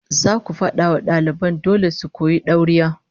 Zaku fada wa daliban ku dole su koyi dauriya